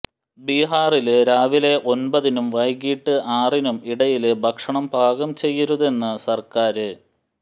ബീഹാറില് രാവിലെ ഒന്പതിനും വൈകിട്ട് ആറിനും ഇടയില് ഭക്ഷണം പാകം ചെയ്യരുതെന്ന് സര്ക്കാര്